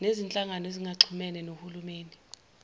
nezinhlangano ezingaxhumene nohulumeni